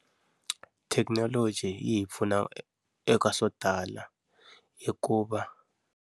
Thekinoloji yi hi pfuna eka swo tala hikuva.